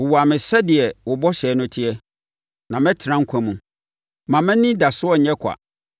Wowa me sɛdeɛ wo bɔhyɛ no teɛ, na mɛtena nkwa mu; mma mʼanidasoɔ nyɛ kwa.